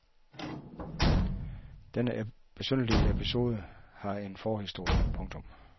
Denne besynderlige episode har en forhistorie. punktum